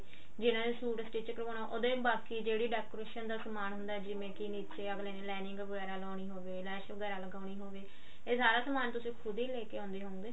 ਜਿਹਨਾ ਨੇ suit stich ਕਰਵਾਉਣਾ ਉਹਦੇ ਬਾਕੀ ਜਿਹੜੇ decoration ਦਾ ਸਮਾਨ ਹੁੰਦਾ ਜਿਵੇਂ ਨੀਚੇ ਅਗਲੇ ਨੇ lining ਵਗੇਰਾ ਲਾਉਣੀ ਹੋਵੇ ਲੈਸ਼ ਵਗੇਰਾ ਲਗਾਉਣੀ ਹੋਵੇ ਇਹ ਸਾਰਾ ਸਮਾਨ ਤੁਸੀਂ ਖੁਦ ਹੀ ਲੇਕੇ ਆਉਂਦੇ ਹੋ